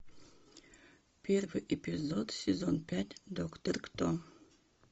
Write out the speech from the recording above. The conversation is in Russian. первый эпизод сезон пять доктор кто